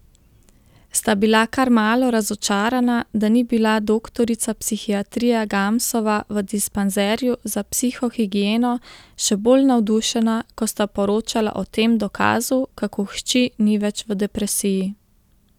Sta bila kar malo razočarana, da ni bila doktorica psihiatrije Gamsova v dispanzerju za psihohigieno še bolj navdušena, ko sta poročala o tem dokazu, kako hči ni več v depresiji.